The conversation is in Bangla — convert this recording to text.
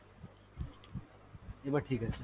এবার ঠিক আছে।